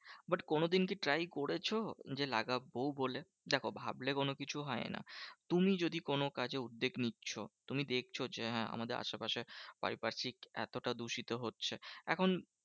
But কোনোদিন কি try করেছো? যে লাগাবো বলে। দেখো ভাবলে কোনোকিছু হয় না। তুমি যদি কোনো কাজে উদ্বেগ নিচ্ছো। তুমি দেখছো যে, হ্যাঁ আমাদের আশেপাশে পারিপার্শিক এতটা দূষিত হচ্ছে। এখন